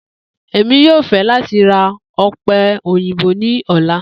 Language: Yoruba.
Emi yoo fẹ lati ra òpè-òyìnbó ni ọla.